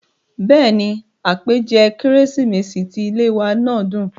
bẹ́ẹ̀ni, àpèjẹ kérésìmesì ti ilé ìwé náà dùn